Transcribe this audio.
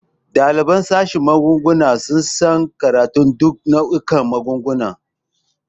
Ɗaliban sashin magani suna karantar duk nau'ikan magunguna.